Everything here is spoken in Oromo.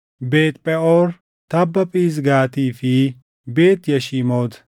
Beet Pheʼoor, tabba Phisgaatii fi Beet Yashiimoot